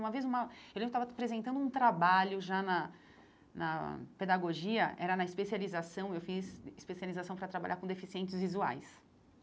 Uma vez uma eu lembro que eu estava apresentando um trabalho já na na pedagogia, era na especialização, eu fiz especialização para trabalhar com deficientes visuais.